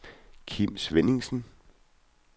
Kim Svenningsen